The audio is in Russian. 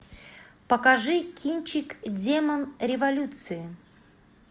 покажи кинчик демон революции